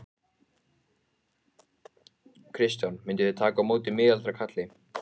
Kristján: Mynduð þið taka á móti miðaldra kalli?